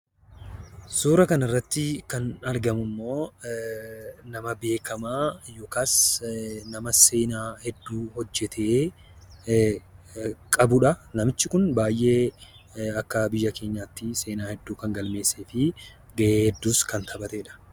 Suuraa kanarratti kan argamummoo nama beekama yookas nama seenaa hedduu hojjete qabudha. Namichi kun akka biyya keenyatti seena hedduu kan galmeessee fi ga'ee hedduus kan taphatedha.